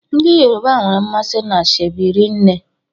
Ndị Yoruba nwere mmasị n'ashebi rinne.